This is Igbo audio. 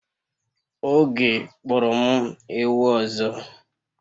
Oge kporo m ewu ọzọ